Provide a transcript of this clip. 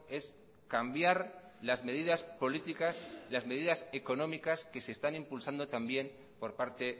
es cambiar las medidas políticas las medidas económicas que se están impulsando también por parte